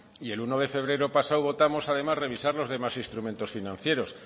y el uno de febrero pasado votamos además revisar los demás instrumentos financieros